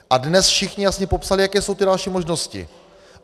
A dnes všichni jasně popsali, jaké jsou ty další možnosti.